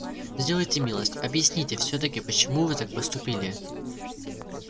сделайте милость объясните всё-таки почему вы так поступили